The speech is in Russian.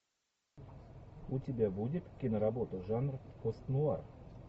у тебя будет киноработа жанр пост нуар